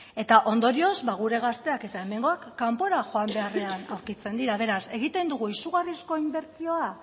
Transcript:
eta ondorioz gure gazteak eta hemengoak kanpora joan beharrean aurkitzen dira beraz egiten dugu izugarrizko inbertsioa